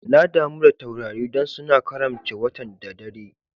Na damu da taurari dan suna karamce watan'da dare.